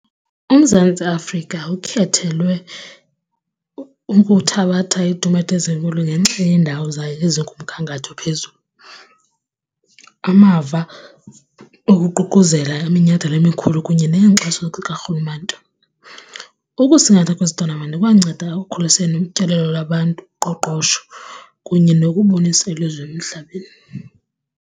UMzantsi Afrika ukhethelwe ukuthabatha itumato ezinkulu ngenxa yendawo zayo ezikumgangatho phezulu, amava okuququzela iminyhadala emikhulu kunye neenkxaso karhulumente. Ukusingatha kwezi tonamenti ikwanceda ekukhuliseni utyelelo lwabantu, uqoqosho kunye nokubonisa elizwe emhlabeni.